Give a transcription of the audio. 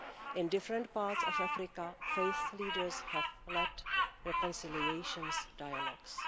In different parts of Africa faith leaders have led reconciliation dialogues.